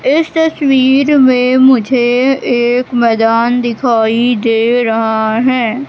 इस तस्वीर मैं मुझे एक मैदान दिखाई दे रहा हैं।